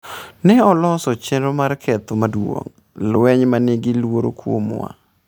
"""Ne oloso chenro mar ketho maduong', lweny ma nigi luoro kuomwa."